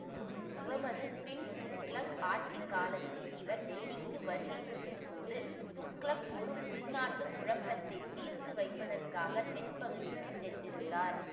முகமது பின் துக்ளக் ஆட்சி காலத்தில் இவர் டெல்லிக்கு வருகை புரிந்த போது துக்ளக் ஒரு உள்நாட்டு குழப்பத்தை தீர்த்து வைப்பதற்காகத் தென்பகுதிக்குச் சென்றிருந்தார்